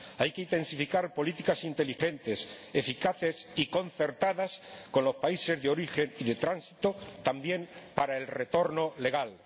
Hay que intensificar políticas inteligentes, eficaces y concertadas con los países de origen y de tránsito, también para el retorno legal.